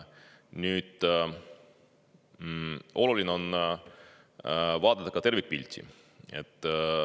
Nüüd, oluline on vaadata ka tervikpilti.